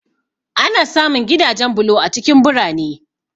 Ana samun gidajen bulo a cikin birane.